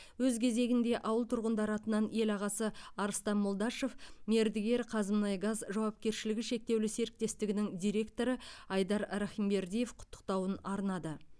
өз кезегінде ауыл тұрғындары атынан ел ағасы арыстан молдашев мердігер қазмұнайгаз жауапкершілігі шектеулі серіктестігінің директоры айдар рахымбердиев құттықтауын арнады